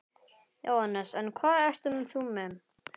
Jóhannes: En hvað ert þú með?